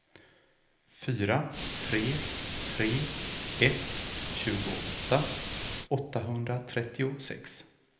fyra tre tre ett tjugoåtta åttahundratrettiosex